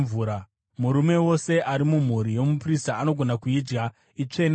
Murume wose ari mumhuri yomuprista anogona kuidya; itsvene-tsvene.